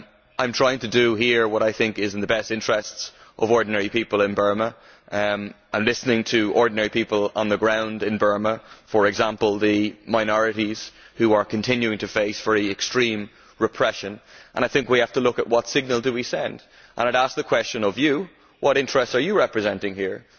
I am trying to do here what I think is in the best interests of ordinary people in Burma. Listening to ordinary people on the ground in Burma for example the minorities who are continuing to face very extreme repression I think we have to look at what signal we send. I would ask you what interests you are representing here.